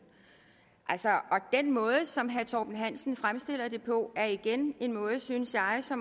altså den måde som herre torben hansen fremstiller det på er igen en måde synes jeg så